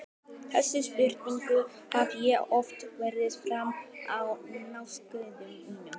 Þessari spurningu hef ég oft varpað fram á námskeiðunum mínum.